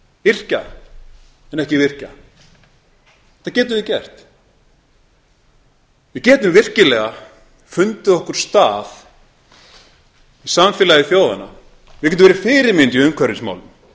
yrkja en ekki virkja það getum við gert við getum virkilega fundið okkur stað í samfélagi þjóðanna við getum verið fyrirmynd í umhverfismálum